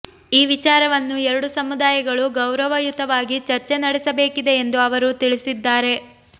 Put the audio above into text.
ಈ ವಿಚಾರವನ್ನು ಎರಡೂ ಸಮುದಾಯಗಳು ಗೌರವಯುತವಾಗಿ ಚರ್ಚೆ ನಡೆಸಬೇಕಿದೆ ಎಂದು ಅವರು ತಿಳಿಸಿದ್ದಾರೆ